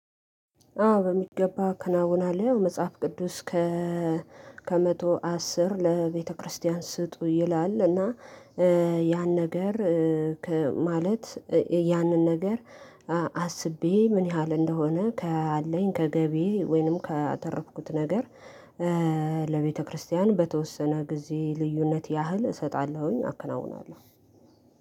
አዎ በሚገባ አከናውናለሁ ያው መጽሐፍ ቅዱስ። ከመቶ አስር ለቤተክርስቲያን ስጡ ይላል። እና ያን ነገር ማለት ያንን ነገር። አስቤ ምን ያህል እንደሆነ ካለኝ ከገቢዬ ወይንም ካተረፍኩት ነገር ለቤተክርስቲያን በተወሰነ ጊዜ ልዩነት ያህል እሰጣለሁኝ አከናውናለሁ።